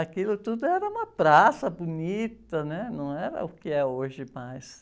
Aquilo tudo era uma praça bonita, né? Não era o que é hoje mais.